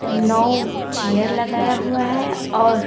नौ chair लगाया हुआ है और--